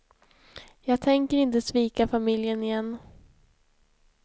Jag tänker inte svika familjen igen.